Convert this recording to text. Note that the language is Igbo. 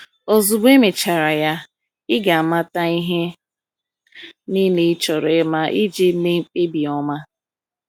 Ozugbo emechara ya, ị ga-amata ihe niile ị chọrọ ịma iji mee mkpebi ọma.